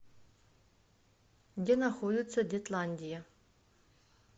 где находится детландия